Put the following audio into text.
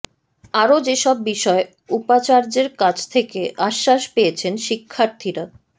আরও যেসব বিষয়ে উপাচার্যের কাছ থেকে আশ্বাস পেয়েছেন শিক্ষার্থীরা